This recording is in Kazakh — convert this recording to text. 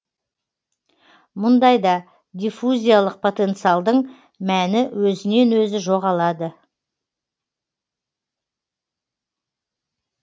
мұндайда диффузиялық потенциалдың мәні өзінен өзі жоғалады